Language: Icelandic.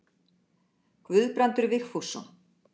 Guðbrandur Vigfússon.